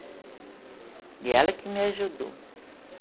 E ela que me ajudou.